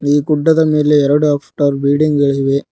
ಈ ಗುಡ್ಡದ ಮೇಲೆ ಎರಡು ಅಪ್ಟರ್ ಬಿಲ್ಡಿಂಗ್ ಗಳಿವೆ.